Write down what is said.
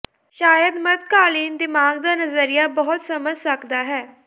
ਸ਼ਾਇਦ ਮੱਧਕਾਲੀਨ ਦਿਮਾਗ ਦਾ ਨਜ਼ਰੀਆ ਬਹੁਤ ਸਮਝ ਸਕਦਾ ਹੈ